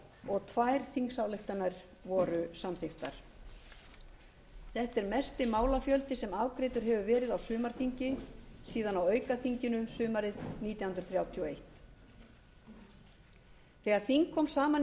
og tvær þingsályktanir voru samþykktar þetta er mesti málafjöldi sem afgreiddur hefur verið á sumarþingi síðan á aukaþinginu sumarið nítján hundruð þrjátíu og eitt þegar þing kom saman í